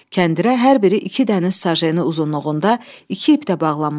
Kəndirə hər biri iki dəniz sajeni uzunluğunda iki ip də bağlanmışdı.